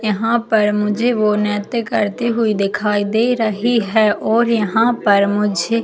यहाँ पर मुझे वो नृत्य करते हुए दिखाई दे रही है और यहाँ पर मुझे --